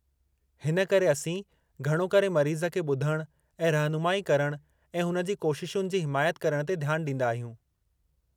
हिन करे असीं घणो करे मरीज़ खे ॿुधणु ऐं रहिनुमाई करणु ऐं हुन जी कोशिशुनि जी हिमायत करण ते ध्यानु ॾींदा आहियूं।